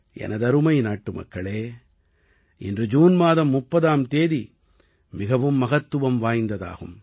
எனதருமை நாட்டுமக்களே இன்று ஜூன் மாதம் 30ஆம் தேதி மிகவும் மகத்துவம் வாய்ந்ததாகும்